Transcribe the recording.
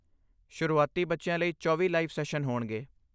ਸ਼ੁਰੂਆਤੀ ਬੱਚਿਆਂ ਲਈ 24 ਲਾਈਵ ਸੈਸ਼ਨ ਹੋਣਗੇ।